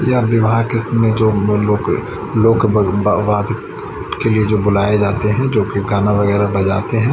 यहा विवहा केस में जो लोग लोग भगभा वादित की ये जो बुलाये जाते है जो की गाना वगेरा बजाते है।